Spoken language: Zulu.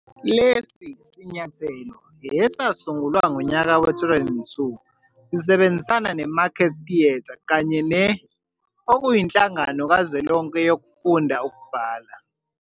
Lesi sinyathelo, esasungulwa ngonyaka we-2002, sisebenzisana neMarket Theatre kanye ne ], okuyinhlangano kazwelonke yokufunda nokubhala.